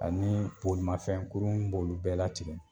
Ani bolimafɛn kurun b'olu bɛɛ latigɛ